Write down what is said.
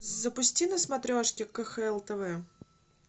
запусти на смотрешке кхл тв